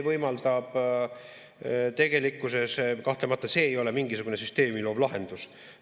Noh, tegelikkuses kahtlemata see ei ole mingisugune süsteemi loov lahendus.